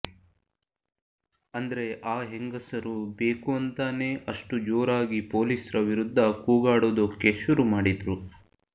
ಅಂದ್ರೆ ಆ ಹೆಂಗಸರು ಬೇಕು ಅಂತಾನೆ ಅಷ್ಟು ಜೋರಾಗಿ ಪೊಲೀಸ್ರ ವಿರುದ್ಧ ಕೂಗಾಡೋದಕ್ಕೆ ಶುರುಮಾಡಿದ್ರು